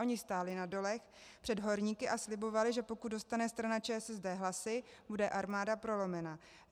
Oni stáli na dolech před horníky a slibovali, že pokud dostane strana ČSSD hlasy, bude Armáda prolomena.